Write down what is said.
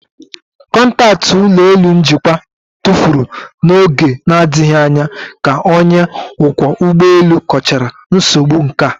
Kọntaktị ụlọ elu njikwa tụfuru n'oge na-adịghị anya ka onye ọkwọ ụgbọ elu kọchara nsogbu nka